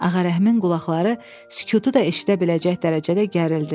Ağarəhimin qulaqları sükutu da eşidə biləcək dərəcədə gərildi.